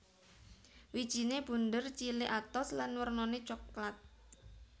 Wijine bunder cilik atos lan wernane soklat